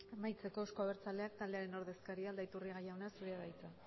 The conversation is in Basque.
amaitzeko euzko abertzaleak taldearen ordezkaria aldaiturriaga jauna zurea da hitza